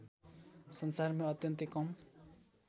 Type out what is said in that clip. संसारमै अत्यन्तै कम